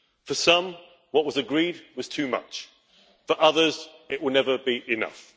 For some, what was agreed was too much. For others, it will never be enough.